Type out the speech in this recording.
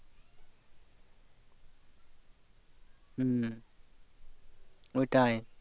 হম ওটাই